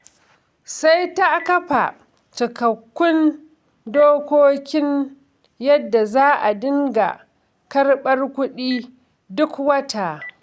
Sai ta kafa cikakkun dokokin yadda za a dinga karɓar kuɗi duk wata.